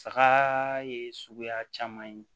Saga ye suguya caman ye